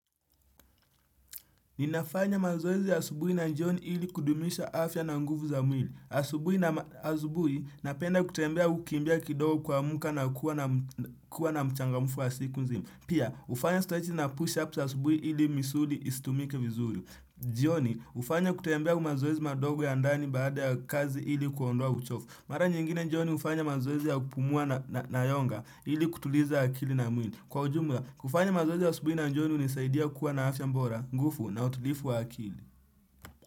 Ninafanya mazoezi asubuhi na jioni ili kudumisha afya na nguvu za mwili. Asubuhi nama asubuhi napenda kutembea au kimbia kidogo kuamka nakuwa na kuwa na mchangamfu wa siku nzima. Pia, hufanya stretch na push-up za asubuhi ili misuli istumike vizuri. Jioni hufanya kutembea au mazoezi madogo ya ndani baada ya kazi ili kuondowa uchofu Mara nyingine jioni hufanya mazoezi ya kupumua na na yonga ili kutuliza akili na mwili Kwa ujumla kufanya mazoezi ya asubuhi na jioni hunisaidia kuwa na afya bora, nguvu na utulivu wa akili.